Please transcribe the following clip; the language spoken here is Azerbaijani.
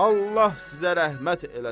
Allah sizə rəhmət eləsin.